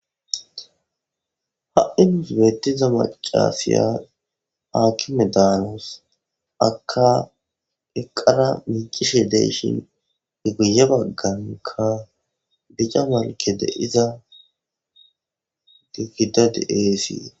Ha7i nuus beettiza macasiya akime daanos aka eqqara miicishe de7ishin i guye bagganka bica malke de7iza gigida de7eesii.